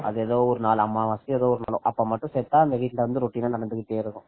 அது எதோ ஒரு நாள் அமாவாசையோ ஏதோ அப்ப மட்டும் செத்தா அது routine நடந்துகிட்டே இருக்கும்